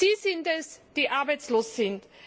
Sie sind es, die arbeitslos sind.